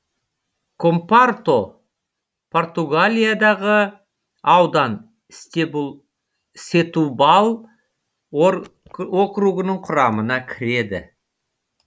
компорто португалиядағы аудан сетубал округінің құрамына кіреді